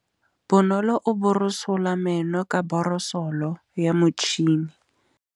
Bonolô o borosola meno ka borosolo ya motšhine.